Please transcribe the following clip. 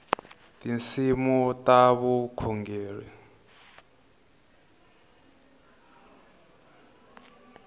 tinsimu ta vukhongeri